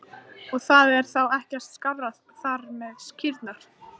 Og það er þá ekkert skárra þar með kýrnar?